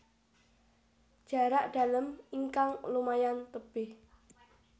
Jarak dalem ingkang lumayan tebih